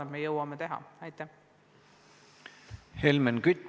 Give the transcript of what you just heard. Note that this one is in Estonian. Helmen Kütt, palun!